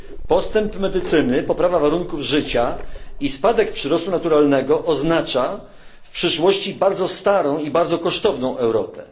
Postęp medycyny, poprawa warunków życia i spadek przyrostu naturalnego oznaczają w przyszłości bardzo starą i bardzo kosztowną Europę.